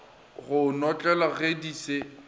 go notlelwa ge di se